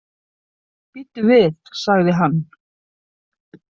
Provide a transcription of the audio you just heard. Bíddu við, sagði hann.